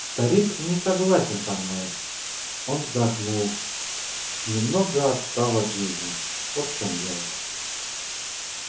старик не согласен со мной он вздохнул немного отстал от жизни вот в чём дело